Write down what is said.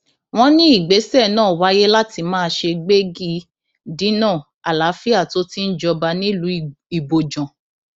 wọn ní ìgbésẹ náà wáyé láti má ṣe gbégi dínà àlàáfíà tó ti ń jọba nílùú ibojàn